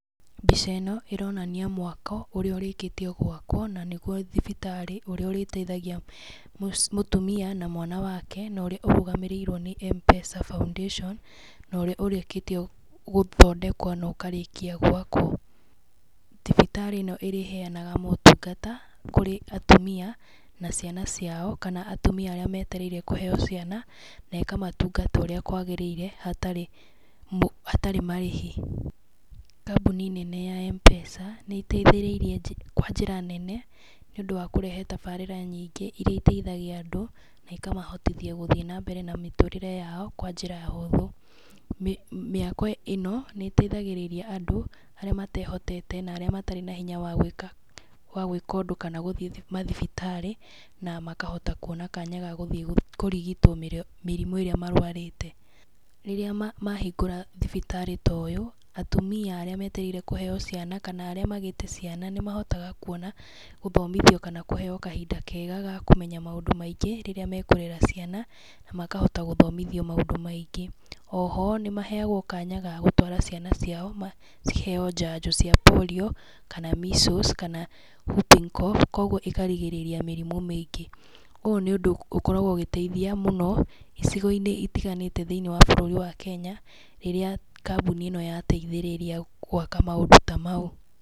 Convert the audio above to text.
Mbica ĩno, ĩronania mwako ũrĩa ũrĩkitie gwakwo, na nĩguo thibitarĩ, ũrĩa ũrĩteithagia mũtumia na mwana wake, na ũrĩa ũrũgamĩrĩirwo nĩ M-Pesa foundation, na ũrĩa ũrĩkĩtie gũthondekwo na ũkarĩkia gwakwo. Thibitarĩ ĩno ĩrĩheanaga motungata, kũrĩ atumia, na ciana ciao, kana atumia arĩa metereire kũheeo ciana, nĩ ĩkamatungata ũrĩa kwagĩrĩire, hatarĩ hatarĩ marĩhi. Kambuni nene ya M-Pesa, nĩ ĩteithĩrĩirie kwa njĩra nene, nĩ ũndũ wa kũrehe tabarĩra nyingĩ irĩa iteithagia andũ, na ikamahotithia gũthiĩ na mbere na mĩtũrĩre yao, kwa njĩra hũthũ. Mĩako ĩno, nĩ ĩteithagĩrĩria andũ, arĩa matehotete, na arĩa matarĩ na hinya wa gwĩka wa gwĩka ũndũ kana gũthiĩ mathibitarĩ, na makahota kuona kanya ga gũthiĩ kũrigitwo mĩrimũ ĩrĩa marũarĩte. Rĩrĩa mahingũra thibitarĩ ta ũyũ, atumia arĩa metereire kũheeo ciana, kana arĩa magĩte ciana, nĩ mahotaga kuona, gũthomithio kana kũheeo kahinda kega ga kũmenya maũndũ maingĩ, rĩrĩa mekũrera ciana, na makahota gũthomithio maũndũ maingĩ. Oho, nĩ maheagwo kanya ga gũtwara ciana ciao ciheeo njanjo cia polio, kana miseals, kana whooping cough, kũguo ĩkarigĩrĩria mĩrimũ mĩingĩ. Ũũ nĩ ũndũ ũkoragwo ũgĩteithia mũno, icigo-inĩ itiganĩte thĩiniĩ wa bũrũri wa Kenya, rĩrĩa kambuni ĩno yateithĩrĩria gwaka maũndũ ta mau.